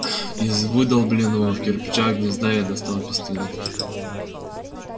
из выдолбленного в кирпичах гнезда я достал пистолет